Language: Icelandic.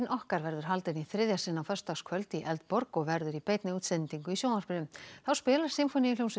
okkar verður haldin í þriðja sinn á föstudagskvöld í Eldborg og verður í beinni útsendingu í sjónvarpinu þá spilar Sinfóníuhljómsveit